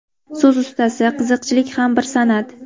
So‘z ustasi, qiziqchilik ham bir san’at.